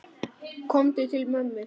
Komdu til mömmu.